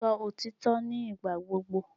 Sọ òtítọ́ ní ìgbà gbogbo!